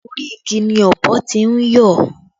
Orí igi ni ọ̀bọ tí ń yọ̀